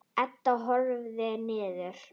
Edda horfir niður.